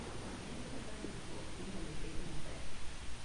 Ere kaka yudruok inyalo ket maber